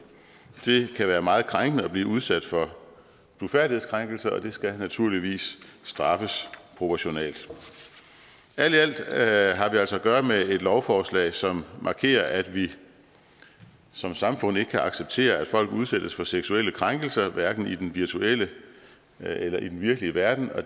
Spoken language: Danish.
det kan være meget krænkende at blive udsat for blufærdighedskrænkelse og det skal naturligvis straffes proportionalt alt i alt alt har vi altså at gøre med et lovforslag som markerer at vi som samfund ikke kan acceptere at folk udsættes for seksuelle krænkelser hverken i den virtuelle eller i den virkelige verden